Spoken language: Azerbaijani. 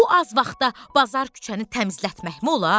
Bu az vaxtda bazar küçəni təmizlətməkmi olar?